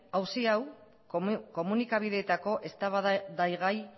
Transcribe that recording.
auzi hau komunikabideetako eztabaidagai